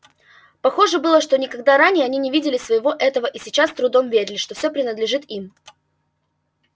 похоже было что никогда ранее они не видели всего этого и сейчас с трудом верили что всё принадлежит им